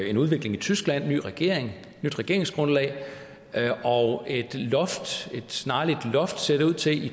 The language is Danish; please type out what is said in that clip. en udvikling i tyskland med en ny regering et nyt regeringsgrundlag og et snarligt loft ser det ud til